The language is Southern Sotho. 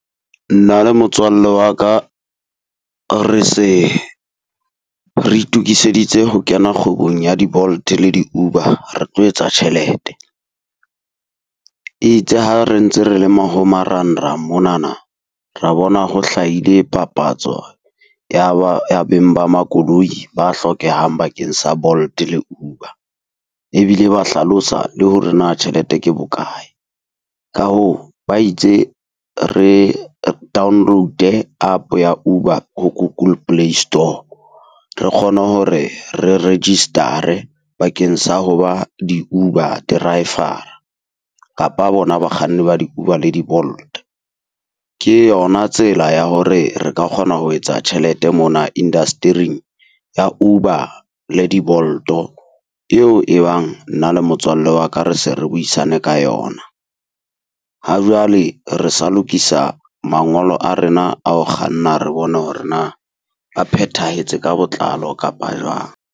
Nna le motswalle wa ka re se re itokiseditse ho kena kgwebong ya di-Bolt le di-Uber re tlo etsa tjhelete. E itse ha re ntse re le ma ho marangrang monana, re bona ho hlahile papatso ya ba ya beng ba makoloi ba hlokehang bakeng sa Bolt-e le Uber. Ebile ba hlalosa le hore na tjhelete ke bokae. Ka hoo ba itse re download-e App ya Uber ho Google Play Store. Re kgone hore re register-re bakeng sa ho ba di-Uber driver-ra, kapa bona bakganni ba di-Uber le di-Bolt. Ke yona tsela ya hore re ka kgona ho etsa tjhelete mona ya Uber le di-Bolt-o eo e bang nna le motswallle wa ka re se re buisane ka yona. Ha jwale re sa lokisa mangolo a rena ao kganna re bone hore na a phethahetse ka botlalo kapa jwang.